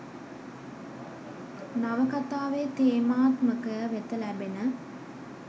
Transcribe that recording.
නවකතාවේ තේමාත්මකය වෙත ලැබෙන